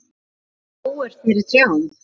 Sést skógur fyrir trjám?